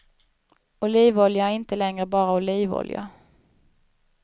Olivolja är inte längre bara olivolja.